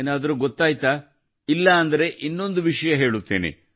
ಏನಾದ್ರೂ ಗೊತ್ತಾಯ್ತ ಇಲ್ಲಾಂದ್ರೆ ಇನ್ನೊಂದು ವಿಷಯ ಹೇಳುತ್ತೇನೆ